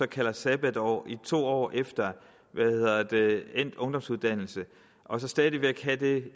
kaldt sabbatår i to år efter endt ungdomsuddannelse og stadig væk have det